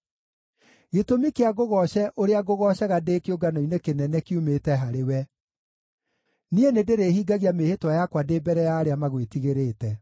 Gĩtũmi kĩa ngũgooce ũrĩa ngũgoocaga ndĩ kĩũngano-inĩ kĩnene kiumĩte harĩwe; niĩ nĩndĩrĩhingagia mĩĩhĩtwa yakwa ndĩ mbere ya arĩa magwĩtigĩrĩte.